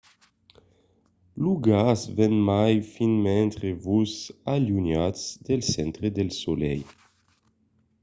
lo gas ven mai fin mentre vos alunhatz del centre del solelh